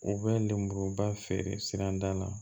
U bɛ lemuruba feere sirada la